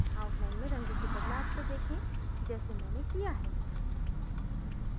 outline में रंग के बदलाव को देखें जैसे मैंने किया है